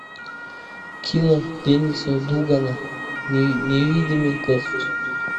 кино дениса дугана невидимый гость